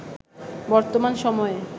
বর্তমান সময়ে